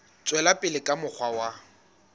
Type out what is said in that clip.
tswela pele ka mokgwa wa